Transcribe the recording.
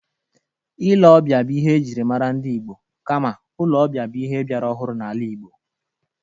Ile-ọbịa bụ ihe e jiri mara ndị Igbo, kama ụlọ ọbịa bụ ihe biara ọhụrụ n'ala Igbo.